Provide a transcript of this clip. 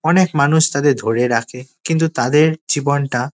অনেক মানুষ তাদের ধরে রাখে কিন্তু তাদের জীবনটা--